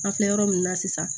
An filɛ yɔrɔ min na sisan